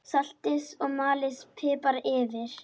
Saltið og malið pipar yfir.